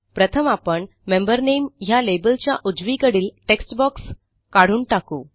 प्रथम आपण मेंबर नामे ह्या लेबलच्या उजवीकडील टेक्स्ट बॉक्स काढून टाकू